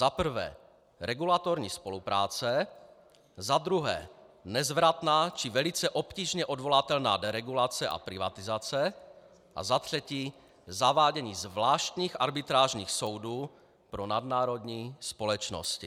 Za prvé regulatorní spolupráce, za druhé nezvratná či velice obtížně odvolatelná deregulace a privatizace a za třetí zavádění zvláštních arbitrážních soudů pro nadnárodní společnosti.